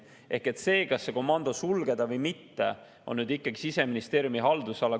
See küsimus, kas komando sulgeda või mitte, on ikkagi Siseministeeriumi haldusalas.